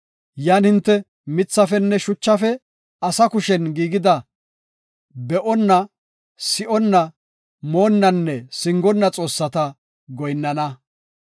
Yan hinte mithafenne shuchafe asa kushen giigida be7onna, si7onna, moonnanne singonna xoossata goyinnana.